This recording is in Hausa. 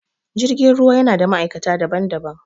Jirgin ruwa yana da ma'aikata daban-daban